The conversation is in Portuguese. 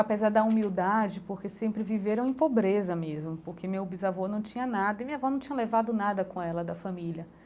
Apesar da humildade, porque sempre viveram em pobreza mesmo, porque meu bisavô não tinha nada e minha avó não tinha levado nada com ela, da família.